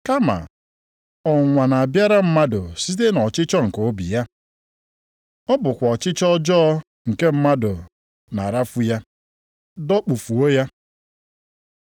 Kama ọnwụnwa na-abịara mmadụ site nʼọchịchọ nke obi ya. Ọ bụkwa ọchịchọ ọjọọ nke mmadụ na-arafu ya, dọkpụfuo ya.